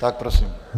Tak prosím.